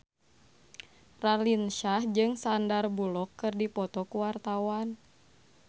Raline Shah jeung Sandar Bullock keur dipoto ku wartawan